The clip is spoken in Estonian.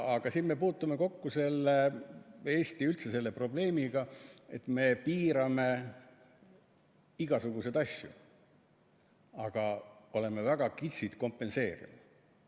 Siin me puutume kokku Eestis üldse selle probleemiga, et me piirame igasuguseid asju, aga oleme väga kitsid kompenseerima.